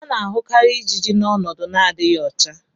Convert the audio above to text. a na-ahụkarị ijiji n' ọnọdụ n'adịghị ọcha.